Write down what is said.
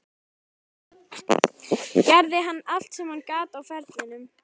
Gerði hann allt sem hann gat á ferlinum?